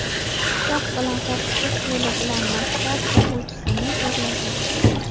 pichoq bilan qo‘rqitish yo‘li bilan maktab o‘quvchisini zo‘rlagan.